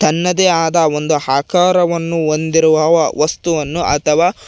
ತನ್ನದೇ ಆದ ಒಂದು ಆಕಾರವನ್ನು ಹೊಂದಿರುವವ ವಸ್ತುವನ್ನು ಅಥವಾ--